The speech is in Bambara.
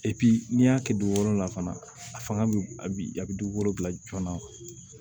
n'i y'a kɛ dugukolo la fana a fanga bɛ a bi a bɛ dugukolo bila joona